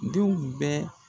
Denw bɛ